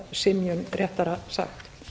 synjun réttara sagt